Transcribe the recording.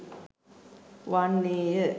වන්නේ ය.